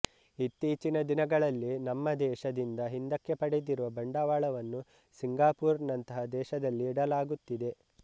ಇತ್ತೀಚಿನ ದಿನಗಳಲ್ಲಿ ನಮ್ಮ ದೇಶದಿಂದ ಹಿಂದಕ್ಕೆ ಪಡೆದಿರುವ ಬಂಡವಾಳವನ್ನು ಸಿಂಗಾಪುರ್ ನಂತಹ ದೇಶದಲ್ಲಿ ಇಡಲಾಅಗುತ್ತಿದೆ